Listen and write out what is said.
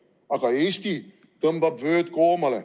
Aga Eesti tõmbab vööd koomale.